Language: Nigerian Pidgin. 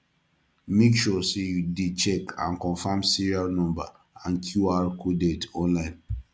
make sure sey you dey check and confirm serial number and qr coded online